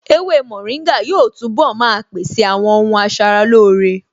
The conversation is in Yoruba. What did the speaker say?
Ewé mòríngà yóò túnbọ̀ maa pèsè àwọn ohun asaralóore